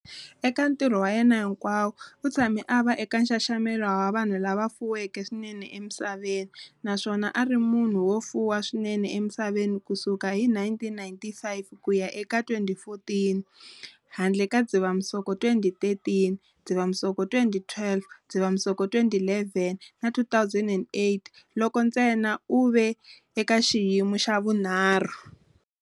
Eka ntirho wa yena hinkwawo, u tshame a va eka nxaxamelo wa vanhu lava fuweke swinene emisaveni naswona a ri munhu wo fuwa swinene emisaveni ku suka hi 1995 ku ya eka 2014, handle ka Dzivamisoko 2013, Dzivamisoko 2012, Dzivamisoko 2011 na 2008 loko a ntsena u ve eka xiyimo xa vunharhu.